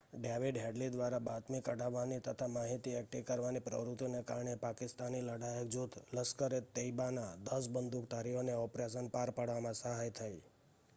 David Headley દ્વારા બાતમી કઢાવવાની તથા માહિતી એકઠી કરવાની પ્રવૃત્તિને કારણે પાકિસ્તાની લડાયક જૂથ લશ્કર-એ-તૈબાના 10 બંદૂકધારીઓને ઑપરેશન પાર પાડવામાં સહાય થઈ